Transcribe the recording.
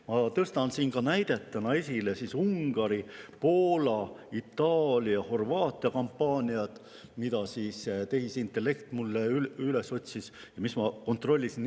Ma tõstan siin näitena esile Ungari, Poola, Itaalia, Horvaatia kampaaniad, mis tehisintellekt mulle üles otsis ja mille ma üle kontrollisin.